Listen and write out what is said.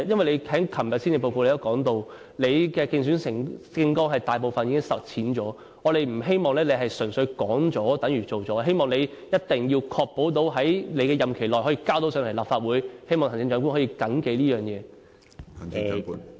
你在昨天的施政報告中提到，你競選政綱大部分的承諾已經實踐了，我們不希望你純粹是說了等於做了，希望你一定要確保在你的任期內，將有關法案提交立法會進行審議。